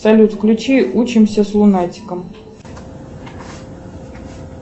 салют включи учимся с лунатиком